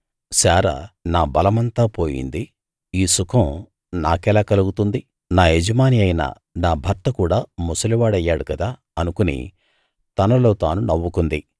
శారా నా బలమంతా పోయింది ఈ సుఖం నాకెలా కలుగుతుంది నా యజమాని అయిన నా భర్త కూడా ముసలివాడయ్యాడు కదా అనుకుని తనలో తాను నవ్వుకుంది